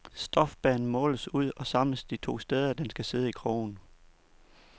Stofbanen måles ud og samles de to steder, den skal sidde i krogen.